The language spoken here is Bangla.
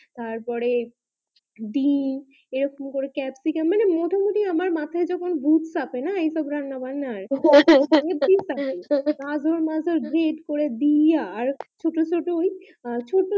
তারপরে ডিম এইরকম করে ক্যাপসিকাম মানে মোটা মুটি আমার মাথায় ভুত চাপে না এসব রান্না ব্যানার আমি ঠিক থাকি না তার পর দিয়া আর ছোট ছোট